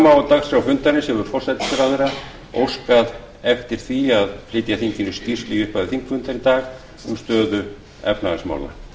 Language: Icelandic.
má á dagskrá fundarins hefur forsætisráðherra óskað eftir því að flytja þinginu skýrslu í upphafi þingfundar í dag um stöðu efnahagsmála